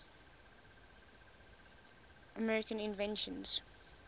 american inventions